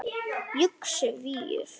Yxu víur